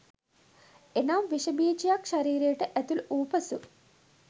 එනම් විශ බීජයක් ශරීරයට ඇතුළුවූ පසු